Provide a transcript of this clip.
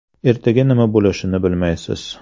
Ertaga nima bo‘lishini bilmaysiz.